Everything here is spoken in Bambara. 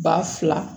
Ba fila